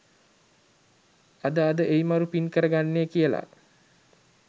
අද අද එයි මරු පින් කර ගන්නේ කියලා